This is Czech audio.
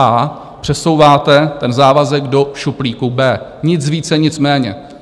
A přesouváte ten závazek do šuplíku B, nic více, nic méně.